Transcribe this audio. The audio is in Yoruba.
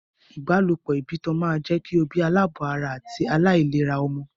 Ìbálopọ̀ ìbátan máa jẹ́ kí o bí aláàbọ̀ ara àti aláìlera ọmọ.